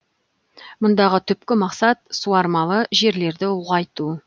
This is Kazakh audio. мұндағы түпкі мақсат суармалы жерлерді ұлғайту